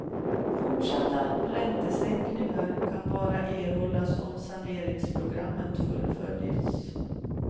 Fortsatta räntesänkningar kan bara erhållas om saneringsprogrammet fullföljs.